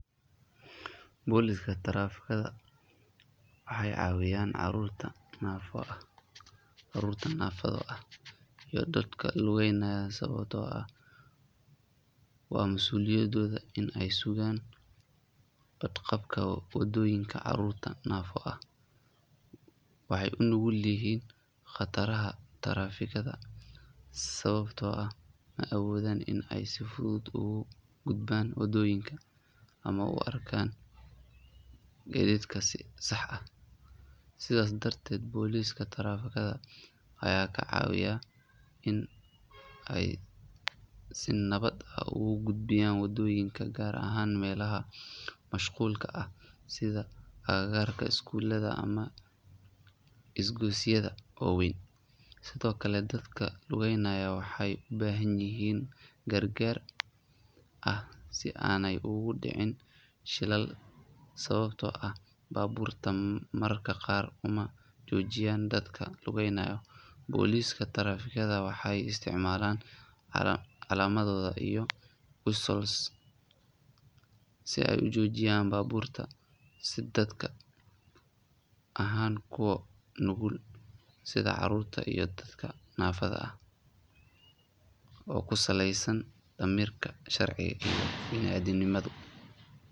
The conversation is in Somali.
Booliska taraafigada waxay cawiyan carurta nafo ah iyoh dadka lugeynaya, sababto ah waa mas uliyadoda inay sugan qadqabka oo wadoyinka carurta nafo ah waxay unugulyihin qadaraha tarafikada sababto ah maawodan inay si fudud oga gudban wadoyinka ama uarkan jidadka sax ah sidas darded boliska trafikada aya kacawiyan inay si nabad ah uga gudbiyan wadoyinka gar ahan melahsa mashqulka ah sidha aga garada skulada amah skosyadfa waweyn sidiokale dadka lugeynaya, aya waxay ubahanyihin gargar ah si ana ogu dicin shilal bababto ah baburka mararka qar umajojiyan dadka lugeynaya, boliska trafikada waxay istacmalan calamadoda iyoh whisles si aay ujojiyan baburta si dadka ahan kuwa nugul sidha carurta iyo dadka nafada ah oku saleysan damirka sharciga binaadamnimada.